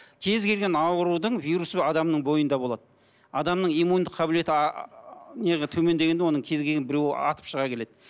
кез келген аурудың вирусы бар адамның бойында болады адамның иммундық қабілеті төмендегенде оның кез келген біреуі атып шыға келеді